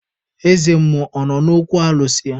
Eze mmụọ ọ nọ n'okwu alụsị ya?